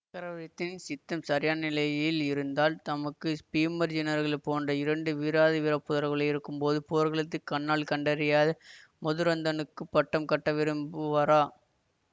சக்கரவர்த்தியின் சித்தம் சரியான நிலையில் இருந்தால் தமக்கு பீமார்ஜுனர்களைப் போன்ற இரண்டு வீராதி வீர புதல்வர்கள் இருக்கும்போது போர்க்களத்தையே கண்ணால் கண்டறியாத மதுராந்தகனுக்குப் பட்டம் கட்ட விரும்புவாரா